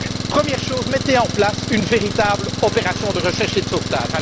Première chose, mettez en place une véritable opération de recherche et de sauvetage.